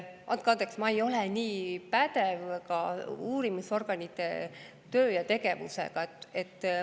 Andke andeks, ma ei ole nii pädev uurimisorganite töö ja tegevuse.